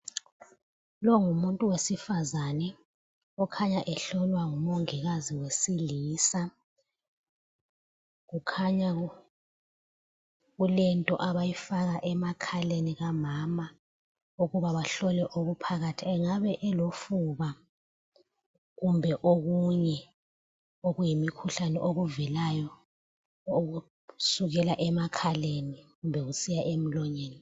Lowu ngumuntu wesifazane okhanya ehlolwa ngumongikazi wesilisa, kukhanya kulento abayifaka emakhaleni kamama ukuba bahlole okuphakathi engabe elofuba kumbe okunye okuyimikhuhlane okuvelayo okusukela emakhaleni kumbe kusiya emlonyeni.